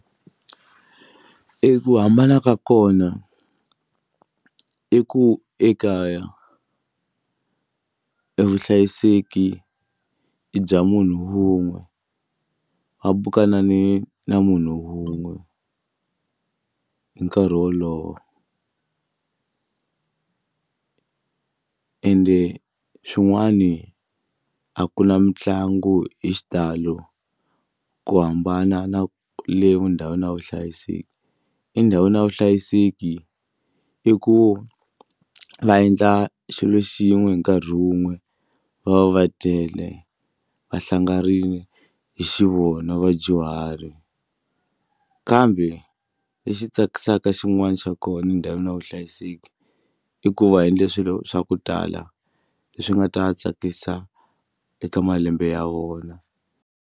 I ku hambana ka kona i ku ekaya evuhlayiseki bya munhu wun'we va bukana ni na munhu wun'we hi nkarhi wolowo ende swin'wani a ku na mitlangu hi xitalo ku hambana na le ndhawini ya vuhlayiseki endhawini ya vuhlayiseki i ku va endla xilo xin'we hi nkarhi wun'we va va va tele va hlanganile hi xivona vadyuhari kambe lexi tsakisaka xin'wana xa kona endhawini ya vuhlayiseki i ku va endle swilo swa ku tala leswi nga ta tsakisa eka malembe ya vona.